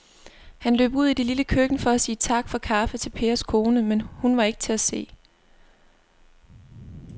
Han løb ud i det lille køkken for at sige tak for kaffe til Pers kone, men hun var ikke til at se.